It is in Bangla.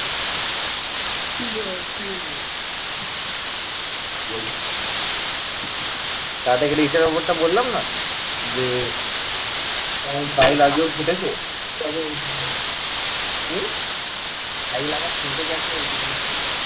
শাহিল আবার ফেঁসে গেছে ওইটুকুনি শুনেছি।